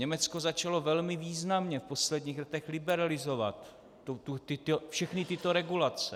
Německo začalo velmi významně v posledních letech liberalizovat všechny tyto regulace.